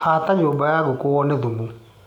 Hata nyũmba ya ngũkũ wone thumu.